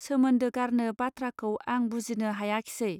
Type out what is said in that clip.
सोमोन्दो गारनो बाथ्राखौ आं बुजिनो हायाखिसै